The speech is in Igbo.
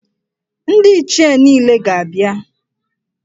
Ndị Ichie niile ga-abịa.